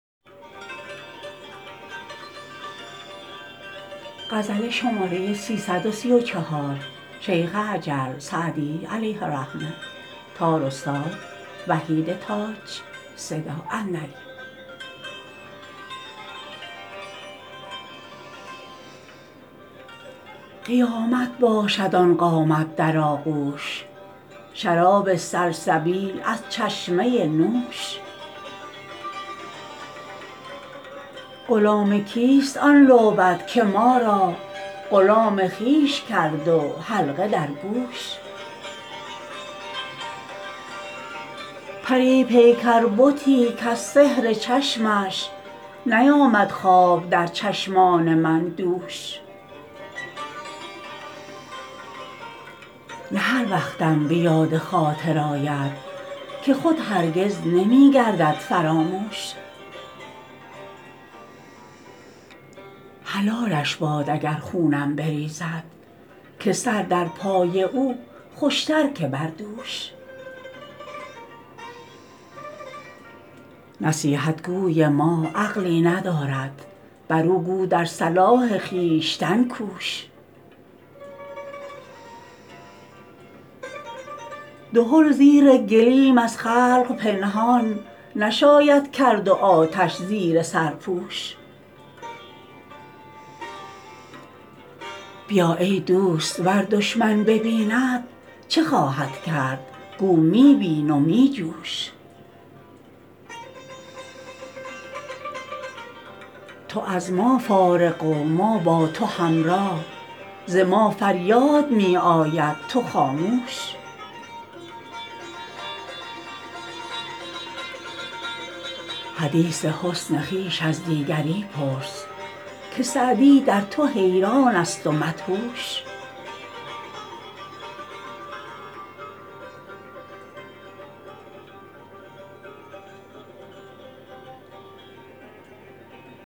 قیامت باشد آن قامت در آغوش شراب سلسبیل از چشمه نوش غلام کیست آن لعبت که ما را غلام خویش کرد و حلقه در گوش پری پیکر بتی کز سحر چشمش نیامد خواب در چشمان من دوش نه هر وقتم به یاد خاطر آید که خود هرگز نمی گردد فراموش حلالش باد اگر خونم بریزد که سر در پای او خوش تر که بر دوش نصیحت گوی ما عقلی ندارد برو گو در صلاح خویشتن کوش دهل زیر گلیم از خلق پنهان نشاید کرد و آتش زیر سرپوش بیا ای دوست ور دشمن ببیند چه خواهد کرد گو می بین و می جوش تو از ما فارغ و ما با تو همراه ز ما فریاد می آید تو خاموش حدیث حسن خویش از دیگری پرس که سعدی در تو حیران است و مدهوش